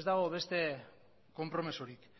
ez dago beste konpromisorik